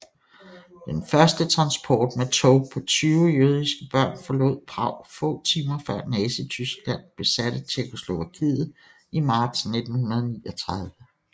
Den første transport med tog på 20 jødiske børn forlod Prag få timer før Nazityskland besatte Tjekkoslovakiet i marts 1939